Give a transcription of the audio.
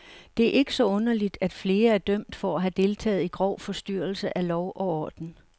Det er ikke så underligt, at flere er dømt for at have deltaget i grov forstyrrelse af lov og orden.